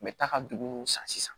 N bɛ taa ka duguw san sisan